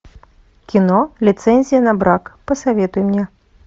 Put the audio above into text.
кино лицензия на брак посоветуй мне